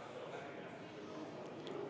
Hääletustulemused